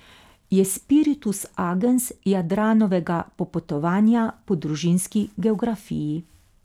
Je spiritus agens Jadranovega popotovanja po družinski geografiji.